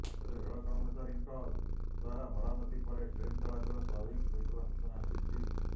ତେବେ ରେଳ କର୍ମଚାରୀଙ୍କ ଦ୍ୱାରା ମରାମତି ପରେ ଟ୍ରେନ୍ ଚଳାଚଳ ସ୍ୱାଭାବିକ ହୋଇଥିବା ସୂଚନା ମିଳିଛି